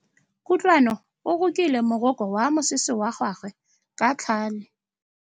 Kutlwanô o rokile morokô wa mosese wa gagwe ka tlhale.